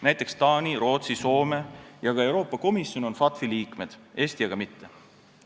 Näiteks on Taani, Rootsi, Soome ja ka Euroopa Komisjon FATF-i liikmed, Eesti aga mitte.